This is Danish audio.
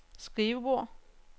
skrivebord